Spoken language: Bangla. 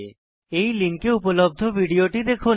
এই লিঙ্কে উপলব্ধ ভিডিওটি দেখুন